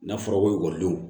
N'a fɔra ko ekɔlidenw